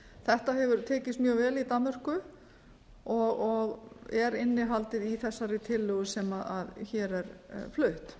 þetta hefur tekist mjög vel í danmörku og er innihaldið í þessari tillögu sem hér er flutt